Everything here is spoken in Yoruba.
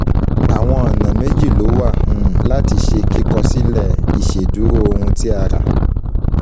Àwọn ọ̀nà méjì ló wà um láti ṣe kíkọ sílè ìṣèdúró ohun tí a ra